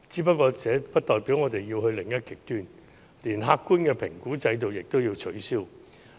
可是，這不代表我們要走到另一個極端，連客觀的評估制度也取消。